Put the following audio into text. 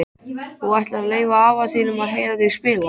Þú ættir að leyfa afa þínum að heyra þig spila.